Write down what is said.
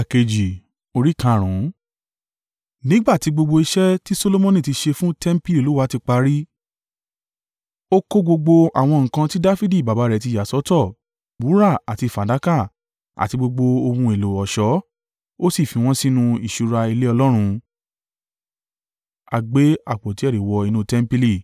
Nígbà tí gbogbo iṣẹ́ tí Solomoni ti ṣe fún tẹmpili Olúwa ti parí, ó kó gbogbo àwọn nǹkan tí Dafidi baba rẹ̀ ti yà sọ́tọ̀: wúrà àti fàdákà àti gbogbo ohun èlò ọ̀ṣọ́, ó sì fi wọ́n sínú ìṣúra ilé Ọlọ́run.